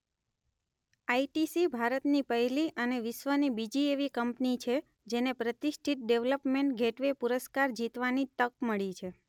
ITC ભારતની પહેલી અને વિશ્વની બીજી એવી કંપની છે જેને પ્રતિષ્ઠિત ડેવલપમેન્ટ ગેટવે પુરસ્કાર જીતવાની તક મળી છે.